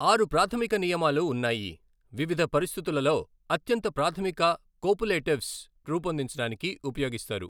ఆరు ప్రాథమిక నియమాలు ఉన్నాయి, వివిధ పరిస్థితులలో అత్యంత ప్రాథమిక కోపులేటివ్స్ రూపొందించడానికి ఉపయోగిస్తారు.